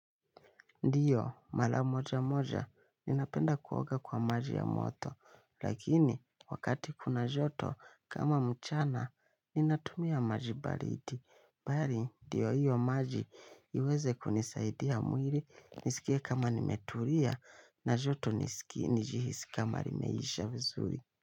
Ndiyo, mala moja moja, ninapenda kuoga kwa maji ya moto, lakini, wakati kuna joto, kama mchana, ninatumia maji balidi. Bali, diyo hiyo maji, iweze kunisaidia mwili, nisikia kama nimetulia, na joto nisikia nijihisi kama nimeisha vizuri.